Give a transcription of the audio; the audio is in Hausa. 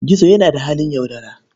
Gizo yana da halin yaudara.